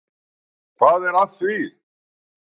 Hvað er að því?